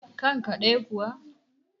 kanka ɗaya kuwa?